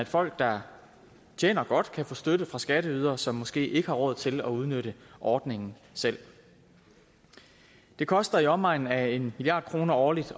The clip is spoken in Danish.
folk der tjener godt kan få støtte fra skatteydere som måske ikke har råd til at udnytte ordningen selv det koster i omegnen af en milliard kroner årligt